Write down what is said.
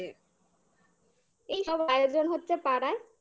এই সব আয়োজন হচ্ছে পাড়ায়